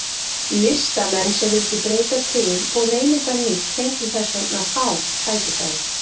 Listamenn sem vildu breyta til og reyna eitthvað nýtt fengu þess vegna fá tækifæri.